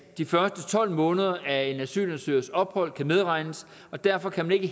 de første tolv måneder af en asylansøgers ophold kan medregnes og derfor kan man ikke